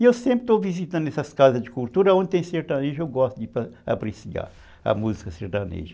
E eu sempre estou visitando essas casas de cultura, onde tem sertanejo, eu gosto de apreciar a música sertaneja.